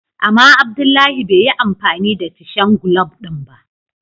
Ama Abdullahi bai yi amfani da tishen glub din ba.